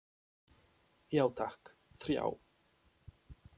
Já takk, þrjá.